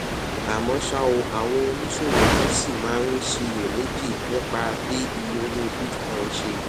àmó ṣá o àwọn oníṣòwò kan ṣì máa ń ṣiyèméjì nípa bí iye owó bitcoin ṣe